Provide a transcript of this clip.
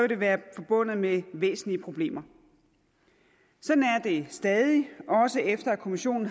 det være forbundet med væsentlige problemer sådan er det stadig også efter at kommissionen